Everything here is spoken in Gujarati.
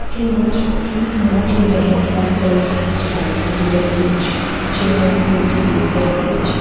તેમજ એક મોટી મેહતવાડ વલસાડ જિલ્લામાં આવી રહ્યું છે જેમાં એક વૃદ્ધ દેખાઈ રહ્યા છે.